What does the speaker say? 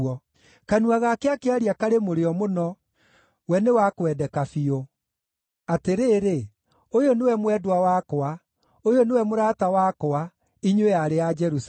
Kanua gake akĩaria karĩ mũrĩo mũno; we nĩ wa kwendeka biũ. Atĩrĩrĩ, ũyũ nĩwe mwendwa wakwa, ũyũ nĩwe mũrata wakwa, inyuĩ aarĩ a Jerusalemu.